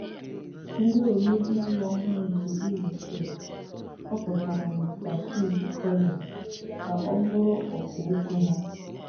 Ndị omebe iwu ọhụrụ nke Imo steeti họpụtara Mr Chiji Collins ka ọ bụrụ Ọkà Okwu ha.